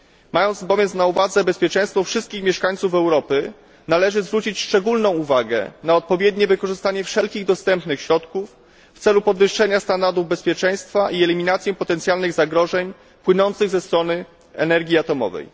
Mając bowiem na uwadze bezpieczeństwo wszystkich mieszkańców Europy, należy zwrócić szczególną uwagę na odpowiednie wykorzystanie wszelkich dostępnych środków w celu podwyższenia standardów bezpieczeństwa i eliminacji potencjalnych zagrożeń płynących ze strony energii atomowej.